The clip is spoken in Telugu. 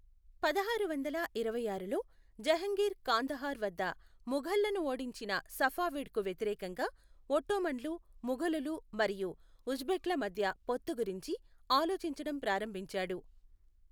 పదహారు వందల ఇరవై ఆరులో, జహంగీర్ కాందహార్ వద్ద ముఘల్లను ఓడించిన సఫావిడ్కు వ్యతిరేకంగా ఒట్టోమన్లు, ముఘలులు మరియు ఉజ్బెక్ల మధ్య పొత్తు గురించి ఆలోచించడం ప్రారంభించాడు.